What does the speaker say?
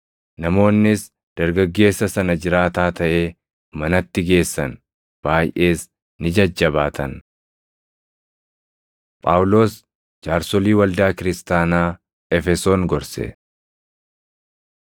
Namoonnis dargaggeessa sana jiraataa taʼee manatti geessan; baayʼees ni jajjabaatan. Phaawulos Jaarsolii Waldaa Kiristaanaa Efesoon Gorse